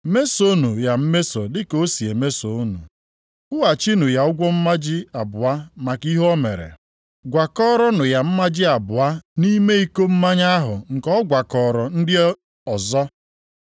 Mesonụ ya mmeso dịka o si meso unu. Kwụghachinụ ya ụgwọ mmaji abụọ maka ihe o mere. Gwakọọrọnụ ya mmaji abụọ nʼime iko mmanya ahụ nke ọ gwakọọrọ ndị ọzọ.